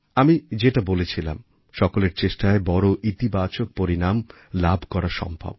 আমি যেটা বলেছিলাম সকলের চেষ্টায় বড়ো ইতিবাচক পরিণাম লাভ করা সম্ভব